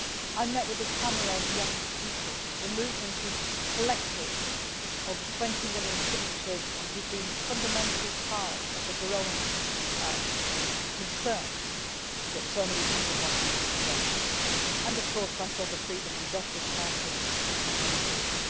I met with the Tamarod young people, the movement who had collected over 20 million signatures and who had been fundamentally part of the growing concern that so many people wanted to express, and of course, I saw the Freedom and Justice Party on that occasion.